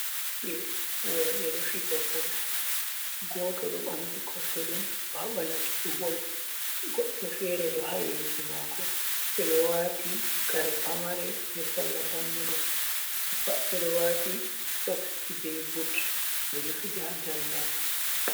Ɓiɓɓe worɓe ɗo fija bol, goto ɗo ɓamti kosɗeɗum ɗo haɓa latugo bol, goɗɗo fere ɗo ha yeso mako, ɓeɗo wati kare pamare be salla dammuɗum, ɓe pat ɓeɗo wati soksji be but ɓeɗo fija ha daldal.